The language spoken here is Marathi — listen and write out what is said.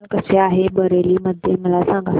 हवामान कसे आहे बरेली मध्ये मला सांगा